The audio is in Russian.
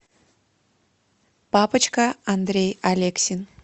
папочка андрей алексин